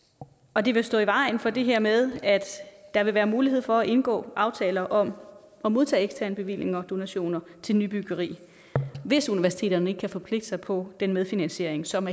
og det vil stå i vejen for det her med at der vil være mulighed for at indgå aftaler om at modtage eksterne bevillinger og donationer til nybyggeri hvis universiteterne ikke kan forpligte sig på den medfinansiering som